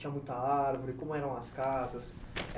Tinha muita árvore, como eram as casas?